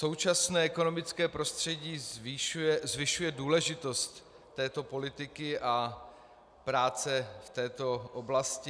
Současné ekonomické prostředí zvyšuje důležitost této politiky a práce v této oblasti.